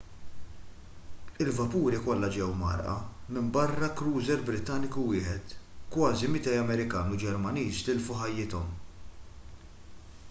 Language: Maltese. il-vapuri kollha ġew mgħarrqa minbarra krużer brittaniku wieħed kważi 200 amerikan u ġermaniż tilfu ħajjithom